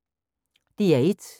DR1